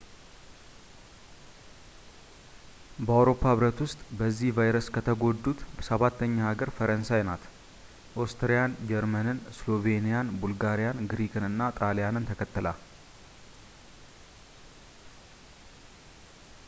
በአውሮፓ ህብረት ውስጥ በዚህ ቫይረስ ከተጎዱት ሰባተኛ ሀገር ፈረንሳይ ናት ኦስትሪያን ጀርመንን ስሎቬንያን ቡልጋሪያን ግሪክን እና ከጣሊያንን ተከትላ